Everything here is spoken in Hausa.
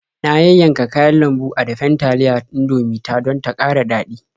Na yayyanka kayan lambu a dafen taliyar Indomie ta don ta ƙara daɗi.